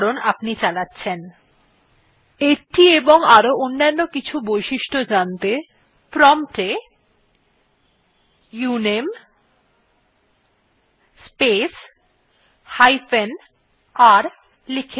এটি এবং আরো অনেক অন্যান্য বৈশিষ্ট্য জানতে prompt we uname space hyphen r লিখে enter টিপুন